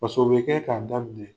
o bi kɛ ka da